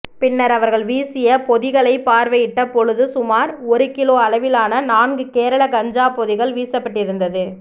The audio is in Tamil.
பின்னர் அவர்கள் வீசிய பொதிகளைப் பார்வையிட்ட பொழுது சுமார் ஒரு கிலோ அளவிலான நான்கு கேரள கஞ்சா பொதிகள் வீசப்பட்டிருந்தது